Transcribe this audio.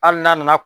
Hali n'a nana